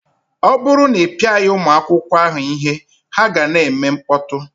Ọ bụrụ na ị pịaghị ụmụ akwụkwọ ahụ ihe, ha ka ga na-eme mkpọtụ